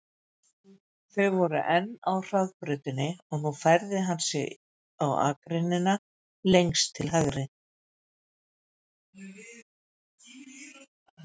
Þau voru enn á hraðbrautinni og nú færði hann sig á akreinina lengst til hægri.